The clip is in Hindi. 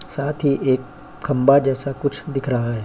साथ ही एक खंबा जैसा कुछ दिख रहा है।